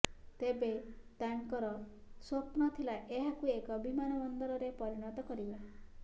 ତେବେ ତାଙ୍କର ସ୍ୱପ୍ନ ଥିଲା ଏହାକୁ ଏକ ବିମାନବନ୍ଦରରେ ପରିଣତ କରିବା